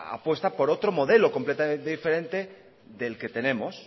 apuesta por otro modelo completamente diferente del que tenemos